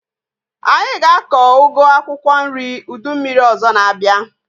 Anyị ga-akọ ugu akwụkwọ nri ụdị mmiri ọzọ na-abịa